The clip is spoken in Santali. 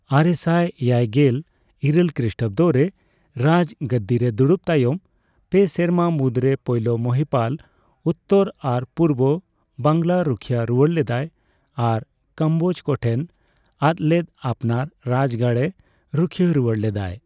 ᱟᱨᱮᱥᱟᱭ ᱮᱭᱟᱭᱜᱮᱞ ᱤᱨᱟᱹᱞ ᱠᱨᱤᱥᱴᱟᱵᱫᱚ ᱨᱮ ᱨᱟᱡ ᱜᱟᱹᱫᱤᱨᱮ ᱫᱩᱲᱩᱵ ᱛᱟᱭᱚᱢ ᱯᱮ ᱥᱮᱨᱢᱟ ᱢᱩᱫᱨᱮ ᱯᱳᱭᱞᱳ ᱢᱚᱦᱤᱯᱟᱞ ᱩᱛᱛᱚᱨ ᱟᱨ ᱯᱩᱨᱵᱚ ᱵᱟᱝᱞᱟ ᱨᱩᱠᱷᱤᱭᱟᱹ ᱨᱩᱣᱟᱹᱲ ᱞᱮᱫᱟᱭ, ᱟᱨ ᱠᱚᱢᱵᱳᱡᱠᱚ ᱴᱷᱮᱱ ᱟᱫᱞᱮᱫ ᱟᱯᱱᱟᱨ ᱨᱟᱡᱜᱟᱲᱮ ᱨᱩᱠᱷᱤᱭᱟᱹ ᱨᱩᱣᱟᱹᱲ ᱞᱮᱫᱟᱭ ᱾